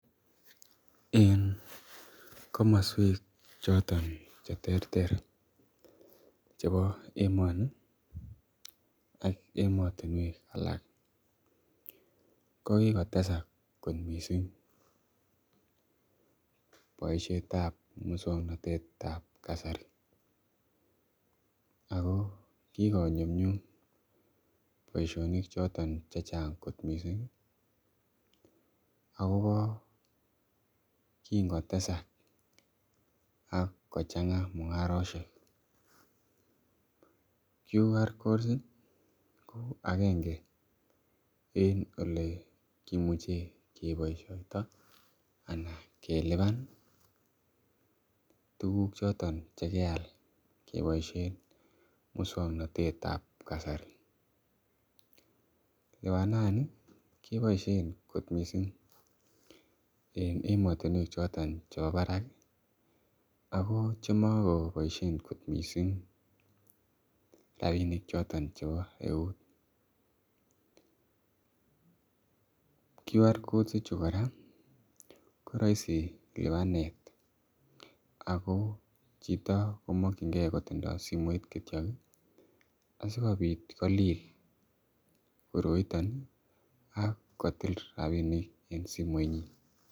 En komosuek choto cheterter en emoni ak emotinuek alak kokikotesak kot missing boisietab musuaknotetab kasari, ago kikonyumnyum boisionik choton chechang kot missing ih, akoba kingotesak akochang'a mung'arosiek quick recognition codes ko aenge en olikimuche kebaisiato anan keliban tukuk choton chekeal keboisien mukswanotetab kasari notet keboisien kot missing en emotinuek choton cheba barak ih , ako chemako boisien missing rabinik choton cheba ueut, quick recognition codes kora ko raisi libanetab ako chito komakyinge kotinye simoit asikobit kolil kororon akotil rabinik en simoit nyin.